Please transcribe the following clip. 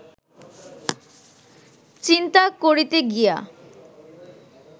চিন্তা করিতে গিয়া